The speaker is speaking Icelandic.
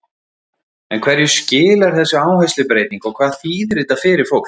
En hverju skilar þessi áherslubreyting og hvað þýðir þetta fyrir fólk?